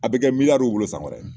A bɛ kɛ miliyari y'u bolo san wɛrɛ